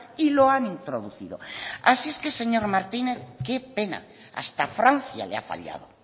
y lo han introducido así es que señor martínez qué pena hasta francia le ha fallado